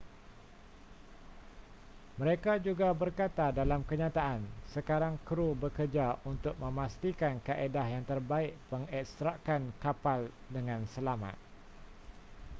mereka juga berkata dalam kenyataan sekarang krew bekerja untuk memastikan kaedah yang terbaik pengekstrakan kapal dengan selamat